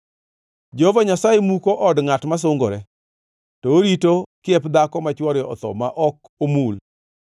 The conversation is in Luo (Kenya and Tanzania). Jehova Nyasaye muko od ngʼat masungore, to orito kiep dhako ma chwore otho ma ok omul.